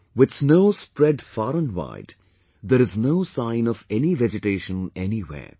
With snow spread far and wide, there is no sign of any vegetation anywhere